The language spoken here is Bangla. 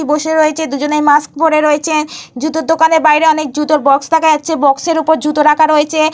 বসে রয়েছে দুজনে মাস্ক পরে রয়েছে। জুতোর দোকানের বাইরে অনেক জুতোর বক্স দেখা যাচ্ছে। বক্স এর ওপর জুতো রাখা হয়েছে।